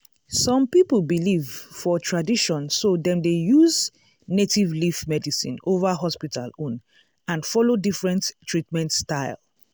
some people believe for tradition so dem dey use native leaf medicine over hospital own and follow different treatment style.